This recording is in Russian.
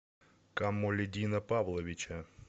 камолиддина павловича